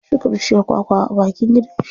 Ya shuka bishiyar kwa kwa a bakin gidan shi.